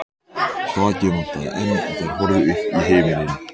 Þakið vantaði enn og þær horfðu upp í himininn.